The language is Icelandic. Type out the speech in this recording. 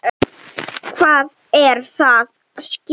Hvað er að ske?